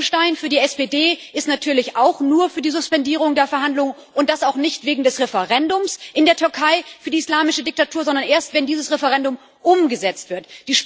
Herr Fleckenstein für die SPD ist natürlich auch nur für die Suspendierung der Verhandlungen, und das auch nicht wegen des Referendums in der Türkei für die islamische Diktatur, sondern erst wenn dieses Referendum umgesetzt wird.